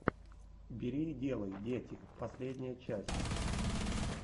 бери и делай дети последняя часть